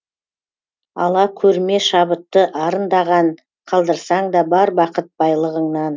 ала көрме шабытты арындаған қалдырсаң да бар бақыт байлығыңнан